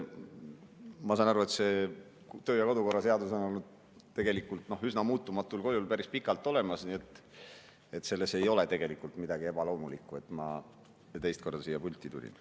Ma saan aru, et see töö‑ ja kodukorra seadus on olnud üsna muutumatul kujul päris pikalt olemas, nii et selles ei ole midagi ebaloomulikku, et ma teist korda siia pulti tulin.